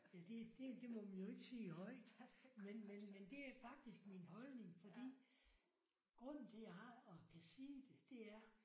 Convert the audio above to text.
Ja det det det må man jo ikke sige højt men men men det er faktisk min holdning fordi grunden til jeg har og kan sige det det er